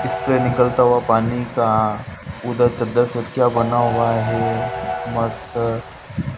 इसपे निकलता हुआ पानी का बना हुआ है मस्त--